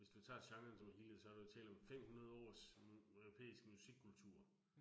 Hvis du tager genren som helhed, så der jo tale om 500 års hm europæisk musikkultur